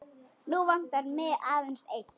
Nú vantar mig aðeins eitt!